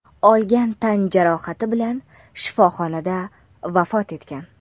olgan tan jarohati bilan shifoxonada vafot etgan.